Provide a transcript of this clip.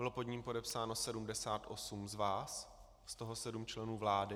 Bylo pod ním podepsáno 78 z vás, z toho 7 členů vlády.